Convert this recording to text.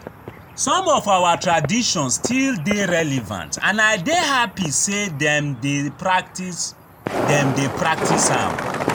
Some of our traditions still dey relevant and I dey happy say dem dey practice dem dey practice am